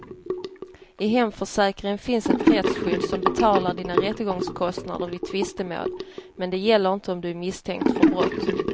I hemförsäkringen finns ett rättsskydd som betalar dina rättegångskostnader vid tvistemål, men det gäller inte om du är misstänkt för brott.